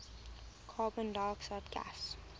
carbon dioxide gas